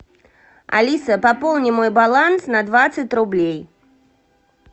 алиса пополни мой баланс на двадцать рублей